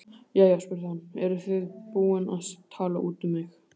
Jæja spurði hann, eruð þið búin að tala út um mig?